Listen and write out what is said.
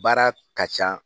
Baara ka ca